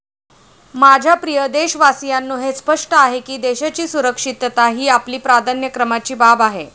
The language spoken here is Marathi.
माझ्या प्रिय देशवासीयांनो हे स्पष्ट आहे की देशाची सुरक्षितता ही आपली प्राधान्यक्रमाची बाब आहे.